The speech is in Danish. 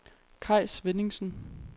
Kaj Svenningsen